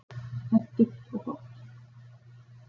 Hentugt og gott.